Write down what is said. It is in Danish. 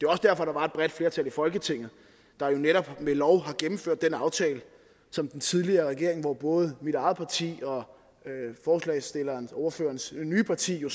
også derfor der var et bredt flertal i folketinget der jo netop ved lov gennemførte den aftale som den tidligere regering både mit eget parti og ordførerens nye parti jo